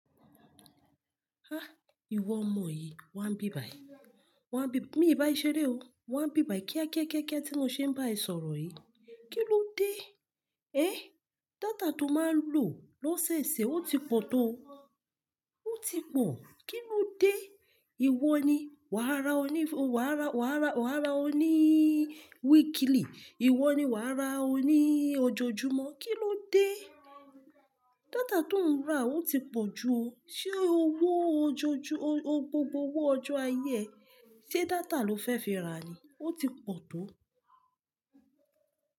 Ah, ìwọ ọmọ yìí, wàá n bí bàyí. Wàá bí-- mi ò bá ẹ ṣeré o, wà n bí bàyí kíákíákíá tí mo ṣe ń bá ẹ sọ̀rọ̀ yìí. Kí ló dé? Eh! Data tó máa ń lò lóṣẹ̀ẹ́sẹ̀ o ti pọ̀ tó o, o ti pọ̀. Kí ló dé? Ìwọ ni wàá ra ọ ní f-- wàá ra, wàá ra, wàá ra ọ níí weekly, ìwọ ni wàá ra ọ ní ojojúmọ́. Kí ló dé? Data tó ń rà o ti pọ̀ ju o. Ṣé owó ojoojú-- o, gbogbo owó ọjọ́ ayé ẹ, ṣe data lo fẹ́ fi rà ni? O ti pọ̀ tó o.